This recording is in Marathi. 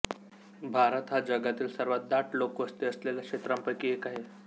भारत हा जगातील सर्वात दाट लोकवस्ती असलेल्या क्षेत्रांपैकी एक आहे